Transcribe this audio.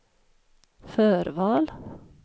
förval